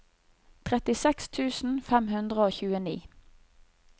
trettiseks tusen fem hundre og tjueni